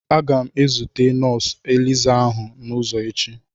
Aga m ezute nọọsụ elizá ahụ n'ụzọ taa.